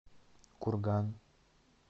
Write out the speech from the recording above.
курган